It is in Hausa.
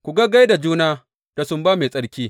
Ku gaggai da juna da sumba mai tsarki.